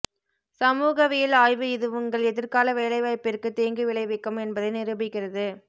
சமூகவியல் ஆய்வு இது உங்கள் எதிர்கால வேலைவாய்ப்பிற்கு தீங்கு விளைவிக்கும் என்பதை நிரூபிக்கிறது